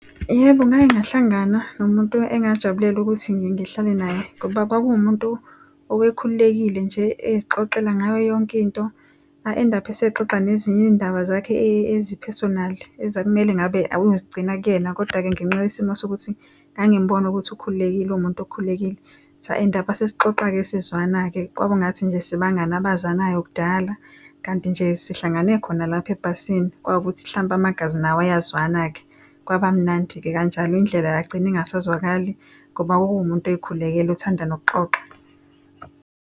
Yebo, ngake ngahlangana nomuntu engajabulela ukuthi ngihlale naye ngoba kwakuwu muntu obekhululekile nje, esixoxela ngayo yonke into a-end-aphe sexoxa nezinye izindaba zakhe eziphesonali ekumele ngabe uzigcina kuyena. Koda-ke ngenxa yesimo sokuthi ngangimbona ukuthi ukhululekile uwumuntu okhululekile sa-end-apha sesixoxa-ke sezwana-ke kwaba ngathi nje sibangani abazanayo kudala, kanti nje sihlangane khona lapha ebhasini kwawukuthi hlampe amagazi nawo ayazwana-ke kwaba mnandi-ke kanjalo indlela yagcina engasezwakali ngoba kwawumuntu oyikhulekele othanda nokuxoxa.